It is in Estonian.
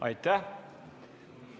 Aitäh!